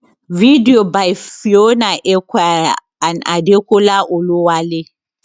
video by fiona equere and adekola olawale